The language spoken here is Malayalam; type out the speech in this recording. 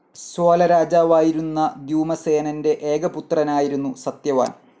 സ്വാലരാജാവായിരുന്ന ധ്യുമസേനൻ്റെ ഏക പുത്രനായിരുന്നു സത്യവാൻ.